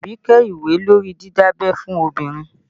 Abike ìwé lórí didabẹ́ fun obìnrin